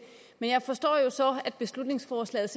jeg forstår jo så at beslutningsforslaget